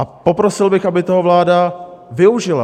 A poprosil bych, aby toho vláda využila.